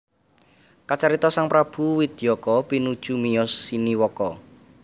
Kacarita sang prabu Widayaka pinuju miyos siniwaka